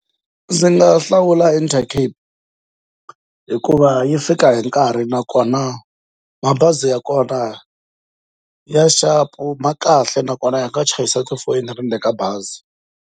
Ndzi nga hlawula Intercape hikuva yi fika hi nkarhi nakona mabazi ya kona ya sharp ma kahle nakona ya nga chayisa tifoyini hala ndeni ka bazi.